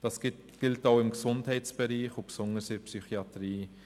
Das gilt auch im Gesundheitsbereich und besonders in der Psychiatrie.